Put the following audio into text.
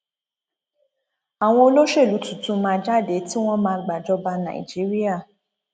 àwọn olóṣèlú tuntun máa jáde tí wọn má gbàjọba nàìjíríà